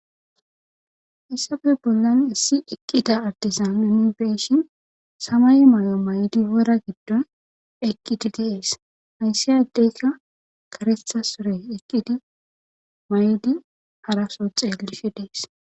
issafe bollan issi eqqida artizan unifeshin samay may7o maydi wora giddon ekidi des haysse addeyka karetha sore ekidi maydi haraso xeelishe dees